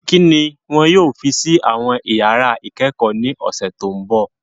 Kí ni wọn yóò fi sí àwọn iyàrá ìkẹ́kọ̀ọ́ ní ọ̀sẹ̀ tó mbọ̀?